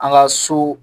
An ka so